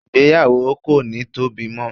igbeyawo ko ni Tobi mo